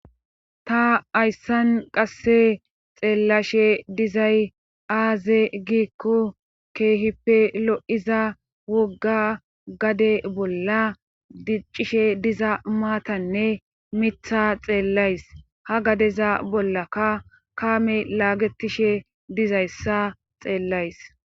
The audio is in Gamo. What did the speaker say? ta ayssan qasse xeellashe dizay aaze giikko keehippe lo7iza wogga gade bolla diccishe diza maatanne mitha xeellays ha gadeza bollakka kaame laagetishe dizayssa xeellays